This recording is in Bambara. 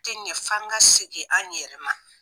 A tɛ ɲɛ f'an ka segin an yɛrɛman.